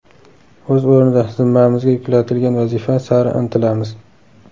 O‘z o‘rnida zimmamizga yuklatilgan vazifa sari intilamiz.